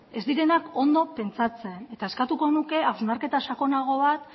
ez direnak ondo pentsatzen eta eskertuko nuke hausnarketa sakonago bat